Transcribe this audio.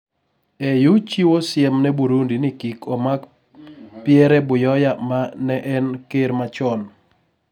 AU chiwo siem ne Burundi ni kik omak Pierre Buyoya ma ne en ker machon